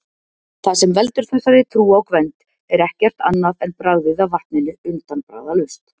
Það sem veldur þessari trú á Gvend er ekkert annað en bragðið af vatninu, undanbragðalaust!